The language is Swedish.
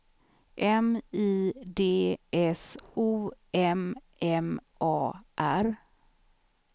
M I D S O M M A R